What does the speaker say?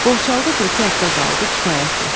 Borçalıda bir-iki həftə qaldı kifayətdir.